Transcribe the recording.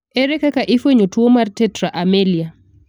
Ere kaka ifuenyo tuo mar tetra amelia?